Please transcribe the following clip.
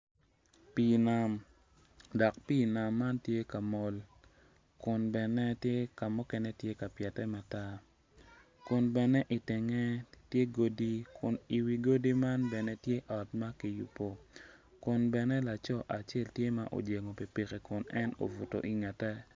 Pii nam. dok pii nam man tye ka mol kun bene ka mukene tye ka pyete matar kun bene i tenge tye godi dok i wi godi man tye odi kun bene laco acel tye ma ojengo pikipiki i ngete.